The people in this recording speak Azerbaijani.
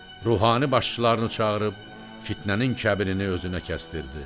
Ruhani başçılarını çağırıb fitnənin kəbirini özünə kəsdirdi.